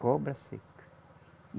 Cobra seca.